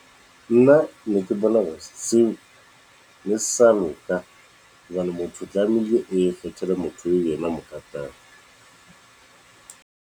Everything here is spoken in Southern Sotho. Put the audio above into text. Nna ne ke bona hore se seo ne se sa loka, hobane motho tlameile a ikgethele motho eo yena a mo ratang.